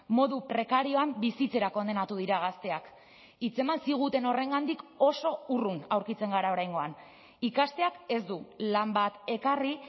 modu prekarioan bizitzera kondenatu dira gazteak hitzeman ziguten horrengandik oso urrun aurkitzen gara oraingoan ikasteak ez du lan bat ekarri